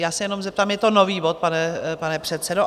Já se jenom zeptám, je to nový bod, pane předsedo?